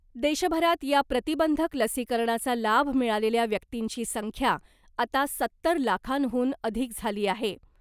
देशभरात या प्रतिबंधक लसीकरणाचा लाभ मिळालेल्या व्यक्तींची संख्या , आता सत्तर लाखांहून अधिक झाली आहे .